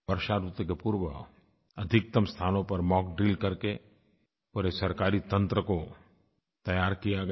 वर्षा ऋतु के पूर्व अधिकतम स्थानों पर मॉक ड्रिल करके पूरे सरकारी तंत्र को तैयार किया गया